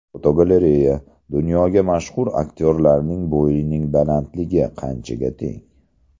Fotogalereya: Dunyoga mashhur aktyorlarning bo‘yining balandligi qanchaga teng?.